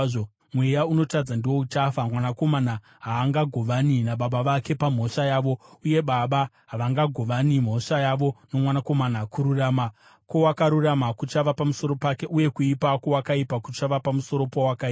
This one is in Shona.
Mweya unotadza ndiwo uchafa. Mwanakomana haangagovani nababa vake pamhosva yavo, uye baba havangagovani mhosva yavo nomwanakomana. Kururama kwowakarurama kuchava pamusoro pake, uye kuipa kwowakaipa kuchava pamusoro powakaipa.